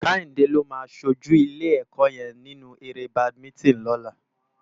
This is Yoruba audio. Kehinde ló má ṣójú ilé èkò yèn ninú éré bádimintin lòlá